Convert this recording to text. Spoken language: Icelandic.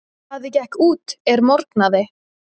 Daði gekk út er morgnaði.